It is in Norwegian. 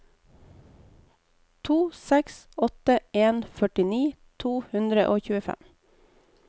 to seks åtte en førtini to hundre og tjuefem